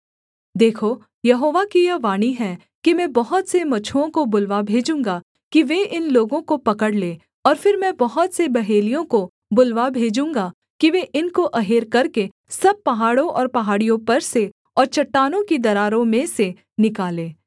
देखो यहोवा की यह वाणी है कि मैं बहुत से मछुओं को बुलवा भेजूँगा कि वे इन लोगों को पकड़ लें और फिर मैं बहुत से बहेलियों को बुलवा भेजूँगा कि वे इनको अहेर करके सब पहाड़ों और पहाड़ियों पर से और चट्टानों की दरारों में से निकालें